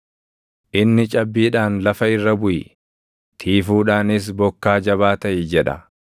Inni cabbiidhaan, ‘Lafa irra buʼi;’ tiifuudhaanis, ‘Bokkaa jabaa taʼi’ jedha.